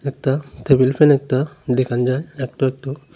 একতা table fan একতা দেখন যায় একটু একটু।